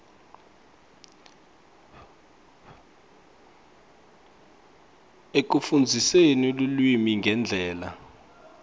ekufundziseni lulwimi ngendlela